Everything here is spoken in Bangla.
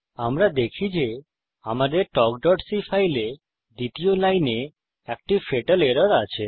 আমরা দেখি যে আমাদের talkসি ফাইলে দ্বিতীয় লাইনে একটি ফেটল এরর আছে